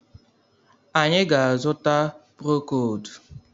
Anyị ga-azuta prokold.